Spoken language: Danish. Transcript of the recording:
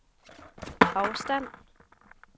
afstand